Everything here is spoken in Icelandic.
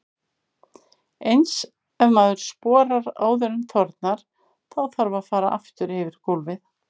Eins ef maður sporar áður en þornar, þá þarf að fara aftur yfir gólfið.